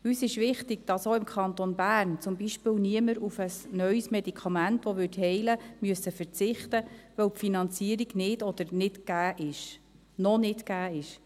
Uns ist wichtig, dass auch im Kanton Bern zum Beispiel niemand auf ein neues Medikament, welches heilen würde, verzichten muss, weil die Finanzierung nicht oder noch nicht gegeben ist.